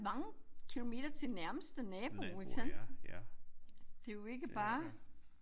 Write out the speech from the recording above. Mange kilometer til nærmeste nabo ikke sandt. Det jo ikke bare